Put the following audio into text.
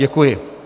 Děkuji.